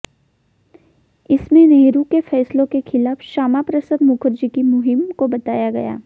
इसमें नेहरू के फैसलों के खिलाफ श्यामा प्रसाद मुखर्जी की मुहिम को बताया गया